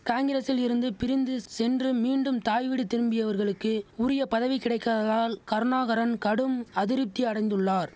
காங்கிரசில் இருந்து பிரிந்து சென்று மீண்டும் தாய்வீடு திரும்பியவர்களுக்கு உரியபதவி கிடைக்காததால் கருணாகரன் கடும் அதிருப்தி அடைந்துள்ளார்